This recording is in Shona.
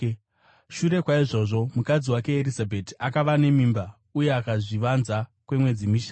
Shure kwaizvozvo, mukadzi wake Erizabheti akava nemimba uye akazvivanza kwemwedzi mishanu.